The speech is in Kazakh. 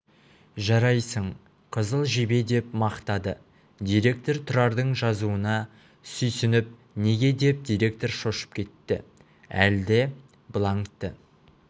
жарайсың қызыл жебе деп мақтады директор тұрардың жазуына сүйсініп неге деп директор шошып кетті әлде бланкті